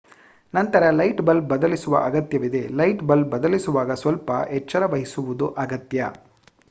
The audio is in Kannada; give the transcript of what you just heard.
ನಂತರ ಲೈಟ್ ಬಲ್ಬ್ ಬದಲಿಸುವ ಅಗತ್ಯವಿದೆ ಲೈಟ್ ಬಲ್ಬ್ ಬದಲಿಸುವಾಗ ಸ್ವಲ್ಪ ಎಚ್ಚರವಹಿಸುವುದು ಅಗತ್ಯ